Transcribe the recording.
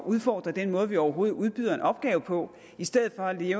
udfordre den måde vi overhovedet udbyder en opgave på i stedet for at vi